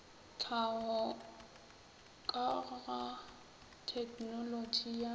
tlhaho ka ga tegnolotši ya